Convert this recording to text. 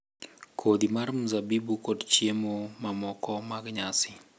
Kodhi mar mzabibu kod chiemo mamoko mag nyasi,